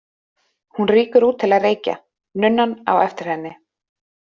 Hún rýkur út til að reykja, nunnan á eftir henni.